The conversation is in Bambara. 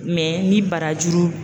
ni barajuru.